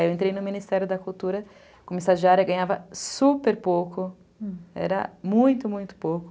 Aí eu entrei no Ministério da Cultura, como estagiária, ganhava super pouco, era muito, muito pouco.